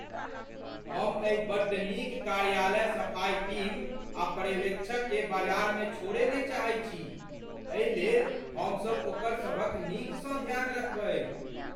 हम एहि बड्ड नीक कार्यालय सफ़ाई टीम आ पर्यवेक्षककेँ बाजारमे छोड़य नहि चाहैत छी। एहिलेल हमसभ ओकरसभक नीकसँ ध्यान रखबै ।